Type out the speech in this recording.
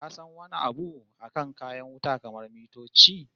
Ka san wani abu akan kayan wuta kamar mitoci?